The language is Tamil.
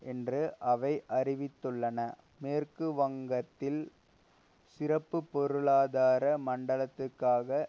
என்று அவை அறிவித்துள்ளன மேற்கு வங்கத்தில் சிறப்பு பொருளாதார மண்டலத்துக்காக